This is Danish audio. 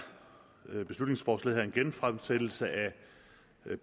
beslutningsforslaget her en genfremsættelse af